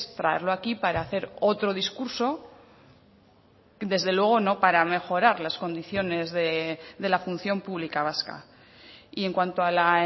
traerlo aquí para hacer otro discurso desde luego no para mejorar las condiciones de la función pública vasca y en cuanto a la